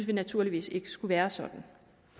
vi naturligvis ikke skulle være sådan